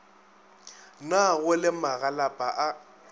na go le magalapa a